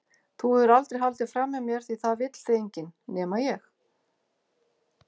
Þú hefur aldrei haldið framhjá mér því það vill þig enginn- nema ég.